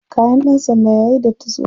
Kayan ɗan sanda yayi datti sosai.